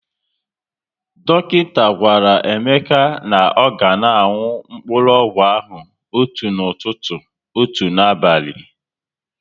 Dọkịta gwara Emeka na ọ ga na aṅụ mkpụrụọgwụ ahụ otu n'ụtụtụ, otu n'abali